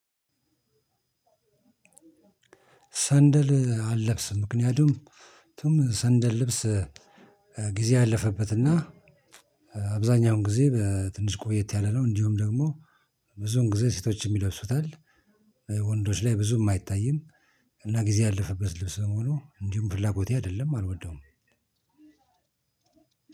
ሰንደል አልለብስም ምክንያቱም ሰንደል ልብስ ጊዜ ያለፈበትና አብዛኛውን ጊዜ ትንሽ ቆየት ያለነው እንዲሁም ደግሞ ብዙም ጊዜ ሴቶችም ይለብሱታል። ወንዶች ላይ ብዙም አይታይም እና ጊዜ ያለፈበት ልብስ መሆኑ እንዲሁም ፍላጎቴ አይደለም አልወደውም።